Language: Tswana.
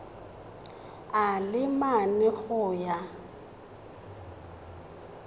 a le mane go ya